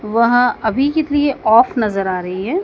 वह अभी के लिए ऑफ नजर आ रही है।